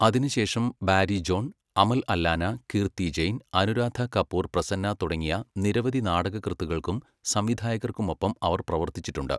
അതിനുശേഷം, Barry John, Amal Allana, Kirti Jain, Anuradha Kapur Prasanna തുടങ്ങിയ നിരവധി നാടകകൃത്തുക്കൾക്കും സംവിധായകർക്കും ഒപ്പം അവർ പ്രവർത്തിച്ചിട്ടുണ്ട്.